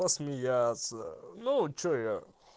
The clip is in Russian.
посмеяться ну что я